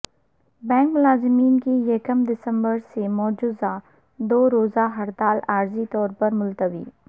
bank ملازمین کی یکم دسمبر سے مجوزہ دو روزہ ہڑتال عارضی طور پر ملتوی